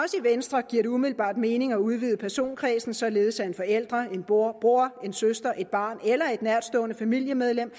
venstre giver det umiddelbart mening at udvide personkredsen således at en forælder en bror bror en søster et barn eller et nærtstående familiemedlem